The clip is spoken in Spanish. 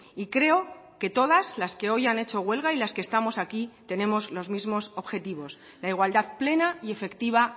y creo que todas las que hoy han hecho huelga y las que estamos aquí tenemos los mismos objetivos la igualdad plena y efectiva